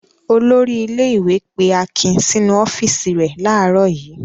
Olórí ilé-ìwé pé Akin sínú ọ́fíísì rẹ̀ láàárọ̀ yìí.